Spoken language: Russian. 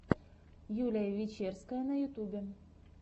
юлия вечерская на ютубе